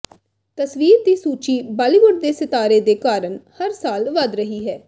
ਤਸਵੀਰ ਦੀ ਸੂਚੀ ਬਾਲੀਵੁੱਡ ਦੇ ਸਿਤਾਰੇ ਦੇ ਕਾਰਨ ਹਰ ਸਾਲ ਵਧ ਰਹੀ ਹੈ